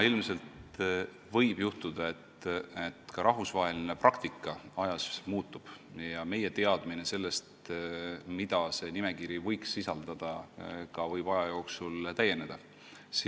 Ilmselt võib juhtuda, et rahvusvaheline praktika ajas muutub, ja ka meie teadmine sellest, mida see nimekiri võiks sisaldada, võib aja jooksul täieneda.